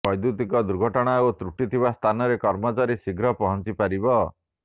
ବ୘ଦ୍ୟୁତିକ ଦୁର୍ଘଟଣା ବା ତ୍ରୁଟି ଥିବା ସ୍ଥାନରେ କର୍ମଚାରୀଟି ଶୀଘ୍ର ପହଞ୍ଚିପାରିବ